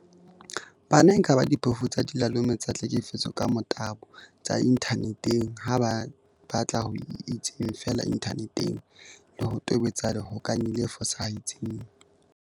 Bana e kaba diphofu tsa dilalome tsa tlhekefetso ka motabo tsa inthane teng ha ba batla ho itseng feela inthaneteng le ho tobetsa lehokanyi le fosahetseng.